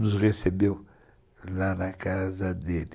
Nos recebeu lá na casa dele.